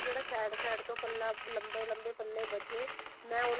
ਜਿਹੜਾ side side ਤੋਂ ਪੱਲਾ ਲੰਬੇ ਲੰਬੇ ਬਚੇ ਮੈਂ ਉਹਨਾ